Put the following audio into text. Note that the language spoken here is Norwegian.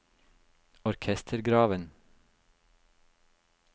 orkestergraven